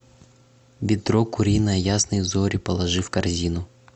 бедро куриное ясные зори положи в корзину